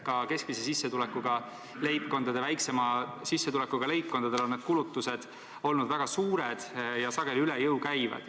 Ka keskmise sissetulekuga leibkondadel ja väiksema sissetulekuga leibkondadel on kulutused olnud väga suured ja sageli üle jõu käivad.